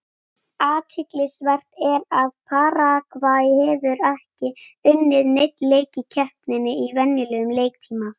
Athyglisvert er að Paragvæ hefur ekki unnið neinn leik í keppninni í venjulegum leiktíma.